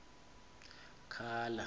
khala